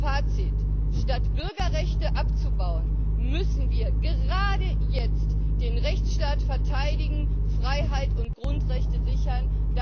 Fazit Statt Bürgerrechte abzubauen, müssen wir gerade jetzt den Rechtstaat verteidigen, Freiheit und Grundrechte sichern.